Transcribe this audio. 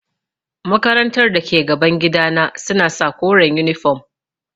Makarantar da ke gaban gidana suna sa koren yunifom.